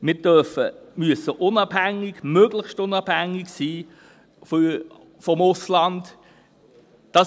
Wir müssen unabhängig – möglichst unabhängig – vom Ausland sein.